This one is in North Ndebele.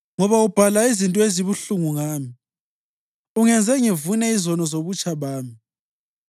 Ngoba ubhala izinto ezibuhlungu ngami ungenze ngivune izono zobutsha bami.